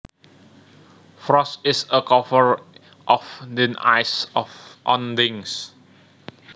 Frost is a cover of thin ice on things